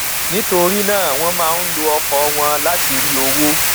nítorí náà wọn máa ń lo ọkọ wọn láti rí owó